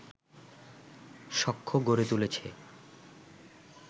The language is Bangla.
সখ্য গড়ে তুলেছে